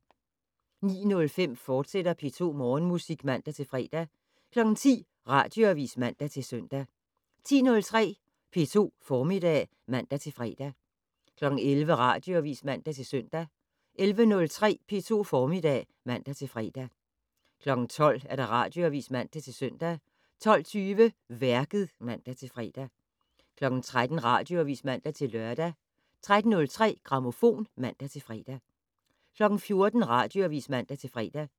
09:05: P2 Morgenmusik, fortsat (man-fre) 10:00: Radioavis (man-søn) 10:03: P2 Formiddag (man-fre) 11:00: Radioavis (man-søn) 11:03: P2 Formiddag (man-fre) 12:00: Radioavis (man-søn) 12:20: Værket (man-fre) 13:00: Radioavis (man-lør) 13:03: Grammofon (man-fre) 14:00: Radioavis (man-fre)